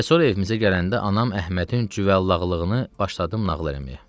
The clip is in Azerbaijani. Və sonra evimizə gələndə anam Əhmədin cüvəllaqlığını başladı nağıl eləməyə.